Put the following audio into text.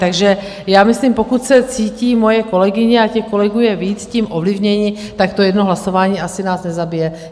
Takže já myslím, pokud se cítí moje kolegyně, a těch kolegů je víc, tím ovlivněná, tak to jedno hlasování asi nás nezabije.